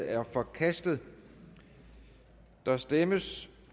er forkastet der stemmes